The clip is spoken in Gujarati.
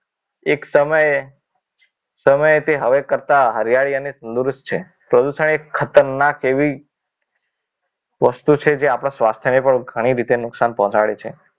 એક સમયે સમય તે હરેખ કરતા હરીયાણી અને તંદુરસ્ત છે પ્રદૂષણ એ ખતરનાક એવી વસ્તુ છે જે આપણે આપણા સ્વાસ્થ્યને ઘણી રીતે નુકસાન પહોંચાડે છે